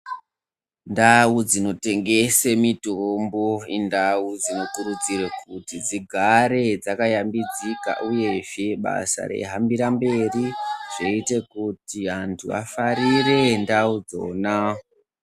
Ndau dzinotengese mitombo indau dzinokurudzirwe kuti dzigare, dzakayambidzika, uyezve kuti basa reihambira mberi zveite kuti antu vafarire ndau dzona.